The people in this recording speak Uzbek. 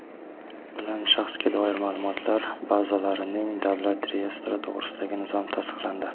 bilan Shaxsga doir maʼlumotlar bazalarining davlat reyestri to‘g‘risidagi nizom tasdiqlandi.